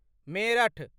Meerut